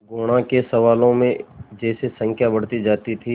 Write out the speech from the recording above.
गुणा के सवालों में जैसे संख्या बढ़ती जाती थी